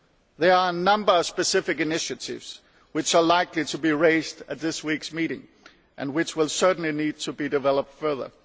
There are a number of specific initiatives which are likely to be raised at this week's meeting and which will certainly need to be developed further.